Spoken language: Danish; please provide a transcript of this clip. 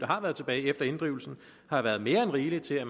har været tilbage efter inddrivelsen har været mere end rigeligt til at